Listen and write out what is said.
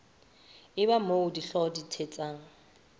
eba moo dihlooho di thetsang